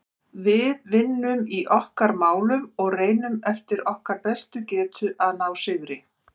Við vinnum í okkar málum og reynum eftir okkar bestu getu að ná sigri.